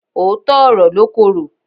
Òótọ́ ọ̀rọ̀ ló korò.